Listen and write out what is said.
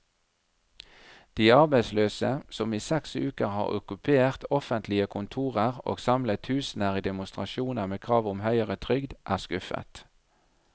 De arbeidsløse, som i seks uker har okkupert offentlige kontorer og samlet tusener i demonstrasjoner med krav om høyere trygd, er skuffet.